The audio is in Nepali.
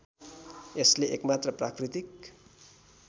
यसले एकमात्र प्राकृतिक